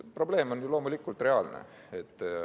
Probleem on loomulikult reaalne.